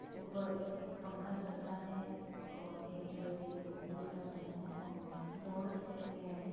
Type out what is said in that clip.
ऊपर एक पंखा चल रहा है और एक जो है सिलिंग जो है दूसरा फैन है बोर्ड दिखाया गया है।